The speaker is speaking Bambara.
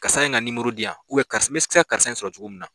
Karisa in ka di yan n bɛ se ka karisa in sɔrɔ cogo min na